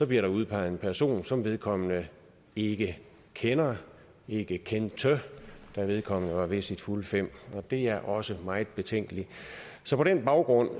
bliver der udpeget en person som vedkommende ikke kender ikke kendte da vedkommende var ved sine fulde fem og det er også meget betænkeligt så på den baggrund